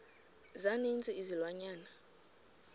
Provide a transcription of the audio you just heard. za ninzi izilwanyana